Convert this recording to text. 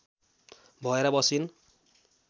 भएर बसिन्